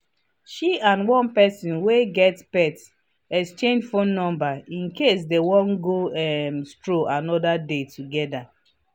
she and one person wey get pet exchange phone number in case they wan go um stroll another day together.